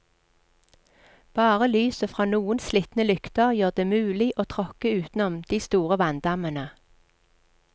Bare lyset fra noen slitne lykter gjør det mulig å tråkke utenom de store vanndammene.